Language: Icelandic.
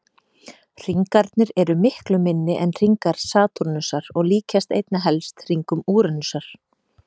Hringarnir eru miklu minni en hringar Satúrnusar og líkjast einna helst hringum Úranusar.